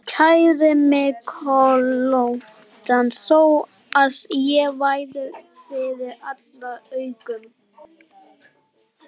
Kærði mig kollóttan þó að ég væri fyrir allra augum.